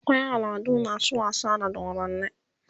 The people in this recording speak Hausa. akwai al'adu masu wasa da dodanni